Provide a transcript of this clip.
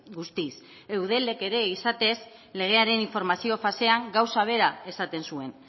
guztiz eudelek ere izatez legearen informazio fasean gauza bera esaten zuen